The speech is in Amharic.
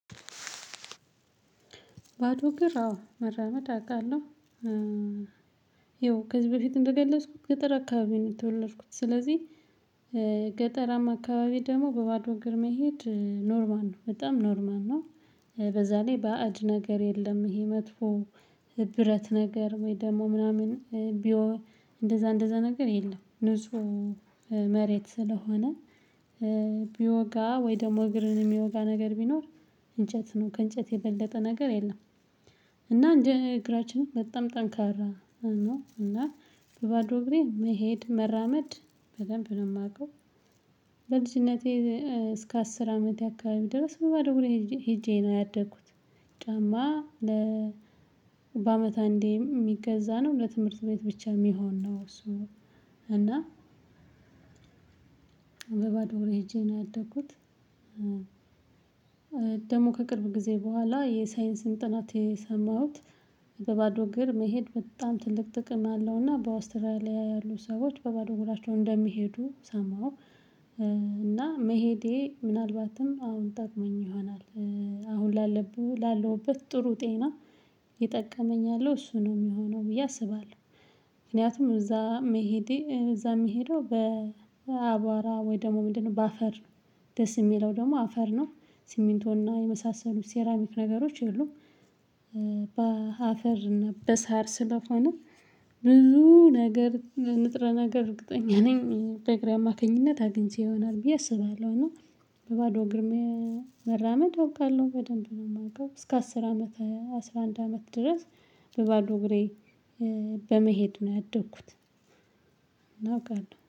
ባዶ እግር አዎ መራመድ አውቃለሁ ይኸው ከዚህ በፊት እንደገለጽኩት ገጠር አካባቢ ነው የተወለድኩት ስለዚህ ገጠራማ አካባቢ ደግሞ በባዶ ግርማ መሄድ ኖርማል ነው በጣም ኖርማል ነው። በዛ ላይ ባዕድ ነገር የለም። ይሄ መጥፎ ብረት ነገር ወይ ደግሞ ምናምን ቢወጋ እንደዛ እንደዛ ነገር የለም ንጹህ መሬት ስለሆነ። ቢወጋ ወይ ደግሞ እግርን የሚወጋ ነገር ቢኖር እንጨት ነው ከእንጨት የበለጠ ነገር የለም። እና እንደ እግራችን በጣም ጠንካራ ነው እና በባዶ እግሬ መሄድ መራመድ በደንብ ነው የማውቀው። በልጅነቴ እስከ አስር አመት የአካባቢ ድረስ በባዶ ሄጄ ነው ያደኩት። ጫማ ለ በአመት አንዴም የሚገዛ ነው ለትምህርት ቤት ብቻ የሚሆን ነው እሱ። እና በባዶ እግር ሄጄ ነው ያደኩት። ደግሞ ከቅርብ ጊዜ በኋላ የሳይንስን ጥናት የሰማሁት። በባዶ እግር መሄድ በጣም ትልቅ ጥቅም አለውና በአውስትራሊያ ያሉ ሰዎች በባዶ እግራቸው እንደሚሄዱ ሰማው። እና መሄዴ ምናልባትም አሁን ጠቅሞኝ ይሆናል። አሁን ላለብህ ላለውበት ጥሩ ጤና እየጠቀመኛል እሱ ነው የሚሆነው ብዬ አስባለሁ። ምክንያቱም እዛ መሄዴ እዛ የሚሄደው በአቧራ ወይ ደግሞ ምንድነው በአፈር። ደስ የሚለው ደግሞ አፈር ነው ሲሚንቶና የመሳሰሉት ሴራሚክ ነገሮች የሉም። በአፈር እና በሳር ስለሆነ ብዙ ነገር ንጥረ ነገር እርግጠኛ ነኝ በእግሬ አማካኝነት አግኝቼ ይሆናል ብዬ አስባለሁ። እና በባዶ እግሬ መራመድ አውቃለሁ በደንብ ነው የማውቀው እስከ አስር አመት አስራ አንድ አመት ድረስ። በባዶ እግሬ በመሄድ ነው ያደግኩት። እናውቃለን